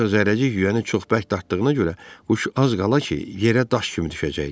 Ancaq zərrəcik yüyəni çox bərk dartdığına görə quş az qala ki, yerə daş kimi düşəcəkdi.